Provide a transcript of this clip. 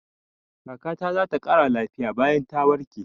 Kaka ta za ta ƙara lafiya bayan ta warke.